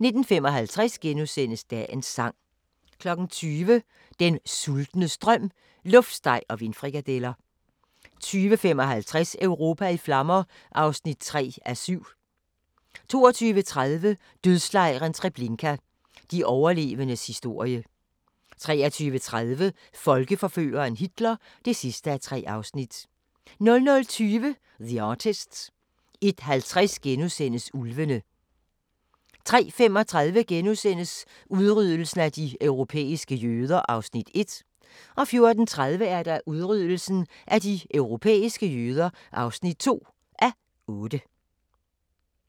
19:55: Dagens Sang * 20:00: Den sultnes drøm: luftsteg og vindfrikadeller 20:55: Europa i flammer (3:7) 22:30: Dødslejren Treblinka – de overlevendes historie 23:30: Folkeforføreren Hitler (3:3) 00:20: The Artist 01:50: Ulvene * 03:35: Udryddelsen af de europæiske jøder (1:8)* 04:30: Udryddelsen af de europæiske jøder (2:8)